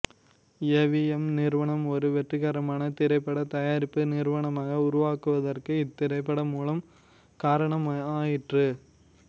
ஏ V M நிறுவனம் ஒரு வெற்றிகரமான திரைப்படத் தயாரிப்பு நிறுவனமாக உருவாகுவதற்கு இத்திரைப்படம் மூல காரணமாயிற்று